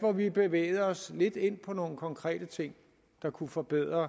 hvor vi bevægede os lidt ind på nogle konkrete ting der kunne forbedre